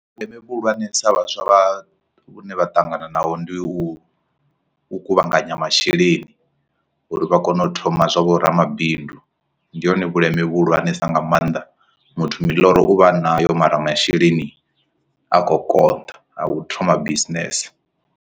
Vhundeme vhu hulwanesa vhaswa vha vhune vha ṱangana naho ndi u kuvhanganya masheleni uri vha kone u thoma zwa vho ramabindu ndi hone vhuleme vhuhulwane sa nga maanḓa muthu miḽoro uvha nayo mara masheleni a khou konḓa a u thoma bisinese.